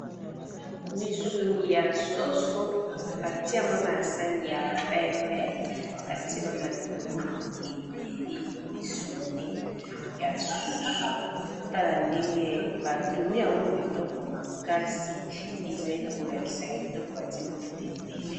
Misuni ya soso ba tie yango na sani ya pembe, ba tie na matungulu ebele misuni ya soso tala ndenge ba tumbi yango kitoko makasi ezali kolakisa kitoko ba tie mafuta ebele.